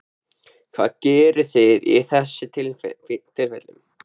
Hvað gerðuð þið í þessum tilfellum?